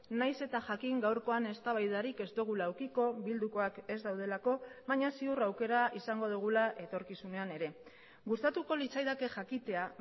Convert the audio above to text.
nahiz eta jakin gaurkoan eztabaidarik ez dugula edukiko bildukoak ez daudelako baina ziur aukera izango dugula etorkizunean ere gustatuko litzaidake jakitea